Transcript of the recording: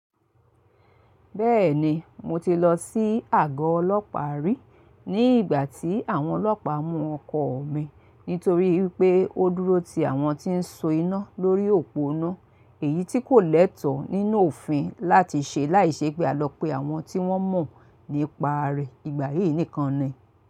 Bẹ́ẹ̀ni mo ti lọ sí àgọ́ ọlọ́pàá rí ní ìgbà tí àwọn ọlọ́pàá mú ọkọ mi nítorí pé ó dúró ti àwọn tí ń so iná lórí òpó iná èyí tí kò lẹ́tọ̀ọ́ nínú òfin láti ṣe láìṣẹ́ pé a lọ pe àwọn tí wọ́n mọ̀ nípa rẹ̀ ìgbà yí nìkan ni.